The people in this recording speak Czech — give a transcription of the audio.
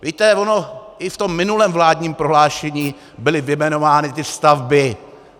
Víte, ono i v tom minulém vládním prohlášení byly vyjmenovány ty stavby.